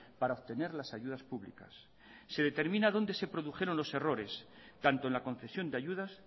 para obtener las ayudas públicas se determina dónde se produjeron los errores tanto en la concesión de ayudas